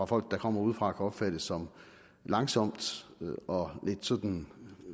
folk der kommer udefra kan opfattes som langsomt og lidt sådan